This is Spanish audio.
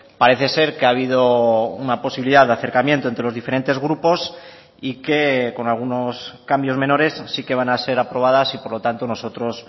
parece ser que ha habido una posibilidad de acercamiento entre los diferentes grupos y que con algunos cambios menores sí que van a ser aprobadas y por lo tanto nosotros